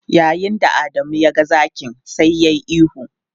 Yayin da Adamu ya ga zakin, sai yayi ihu.